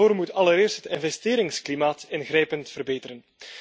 Maar daarvoor moet allereerst het investeringsklimaat ingrijpend verbeteren.